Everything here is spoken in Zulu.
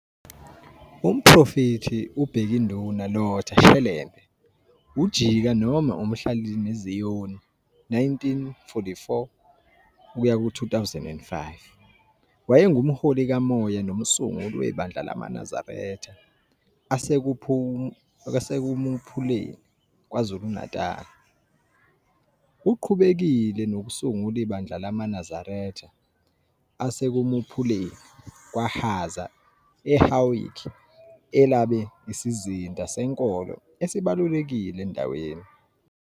UMprofethi u-Bhekinduna Lotha Shelembe, uJika noma uMhlalineziyoni, 1944-2005, wayengumholi kamoya nomsunguli weBandla lamaNazaretha aseKumuphuleni, KwaZulu-Natal. Uqhubekile nokusungula ibandla lamaNazaretha aseKumuphuleni, KwaHhaza, eHowick elaba isizinda senkolo esibalulekile endaweni.